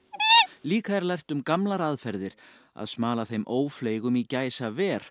líka er lært um gamlar aðferðir að smala þeim ófleygum í gæsaver